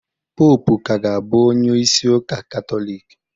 Poopu ka ga-abụ onye isi Ụka Katọlik.